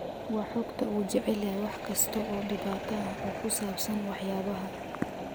waa xogta uu jecel yahay wax kasta oo dhibaato ah oo ku saabsan waxyaabaha